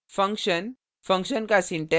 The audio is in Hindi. function function का syntax